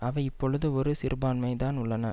அவை இப்பொழுது ஒரு சிறுபான்மைதான் உள்ளன